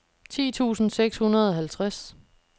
ti tusind seks hundrede og halvtreds